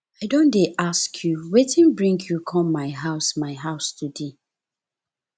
i don dey ask you wetin bring you come my house my house today